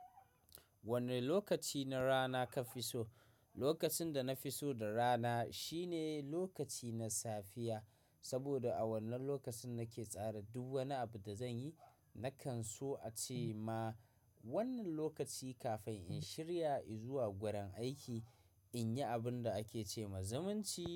Wane lokaci na rana ka fi so? Lokacin da na fi so da rana shine lokaci na safiya, saboda a wannan lokacin nake tsara duk wani abu da zan yi. Nakan so a ce ma wannan lokaci kafin in shirya i zuwa gurin aiki, in yi abin da ake ce ma zumunci.